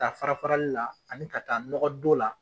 Ta fara farali la ani ka taa nɔgɔdon la.